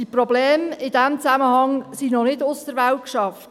Die Probleme in diesem Zusammenhang sind noch nicht aus der Welt geschafft.